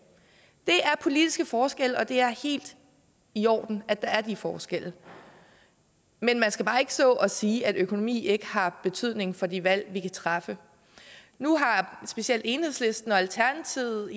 det er politiske forskelle og det er helt i orden at der er de forskelle men man skal bare ikke stå og sige at økonomi ikke har betydning for de valg vi kan træffe nu har specielt enhedslisten og alternativet